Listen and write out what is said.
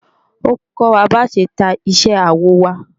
Ó ń kọ́ wa bá ṣe ta iṣẹ́ awọ wa